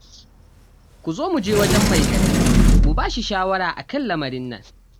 Ku zo mu je wajen mai gari mu ba shi shawara a kan lamarin nan